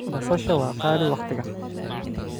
Basasha waa qaali waqtigan.